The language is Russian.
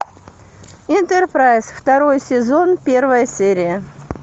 энтерпрайз второй сезон первая серия